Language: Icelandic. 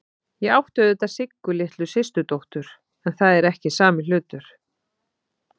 Ég átti auðvitað Siggu litlu systurdóttur, en það er ekki sami hlutur.